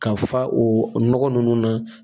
Ka fa o nɔgɔ ninnu na